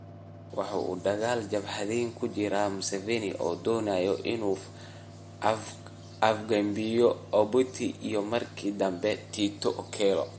waxa uu dagaal jabhadeed kula jiray Museveni oo doonayay in uu afgambiyo Obote iyo markii dambe Tito Okello.